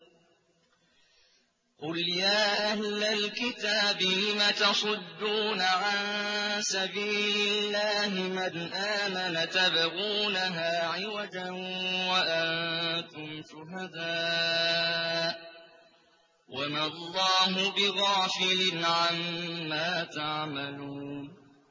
قُلْ يَا أَهْلَ الْكِتَابِ لِمَ تَصُدُّونَ عَن سَبِيلِ اللَّهِ مَنْ آمَنَ تَبْغُونَهَا عِوَجًا وَأَنتُمْ شُهَدَاءُ ۗ وَمَا اللَّهُ بِغَافِلٍ عَمَّا تَعْمَلُونَ